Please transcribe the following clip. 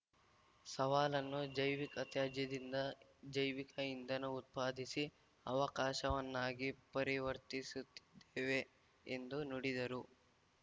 ಸವಾಲನ್ನು ಜೈವಿಕ ತ್ಯಾಜ್ಯದಿಂದ ಜೈವಿಕ ಇಂಧನ ಉತ್ಪಾದಿಸಿ ಅವಕಾಶವನ್ನಾಗಿ ಪರಿವರ್ತಿಸುತ್ತಿದ್ದೇವೆ ಎಂದು ನುಡಿದರು